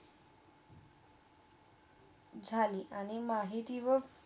झाली. आणि महितीवा